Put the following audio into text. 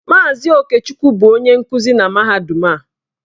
Mazị Okechukwu bụ onye nkuzi na mahadum a.